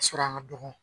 Ka sɔrɔ an ka dɔgɔ